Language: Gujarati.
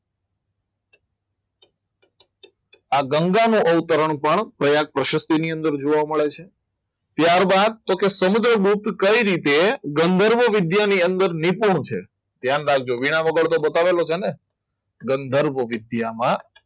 આ ગંગાનો અવતરણ પણ પ્રયાગ પ્રશક્તિ ની અંદર જોવા મળે છે ત્યારબાદ તો સમુદ્ર લોગ કઈ રીતે ગંધર્ભ વિદ્યાની અંદર ની પૂર્ણ છે ધ્યાન રાખજો વીણા વગર બતાવેલું છે ને ગંધર્ભ વિદ્યામાં